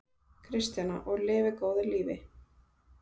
Kristjana: Og lifi góðu lífi?